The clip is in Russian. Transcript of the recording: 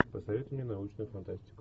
посоветуй мне научную фантастику